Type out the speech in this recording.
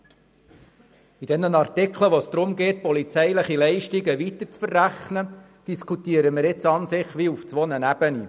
In Bezug auf die Artikel, in welchen es darum geht, polizeiliche Leistungen weiterzuverrechnen, diskutieren wir an und für sich auf zwei Ebenen.